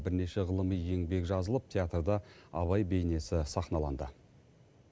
бірнеше ғылыми еңбек жазылып театрда абай бейнесі сахналанды